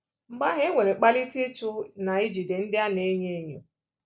Mgbe ahu enwere kpalite ịchụ na ijide ndị a na-enye enyo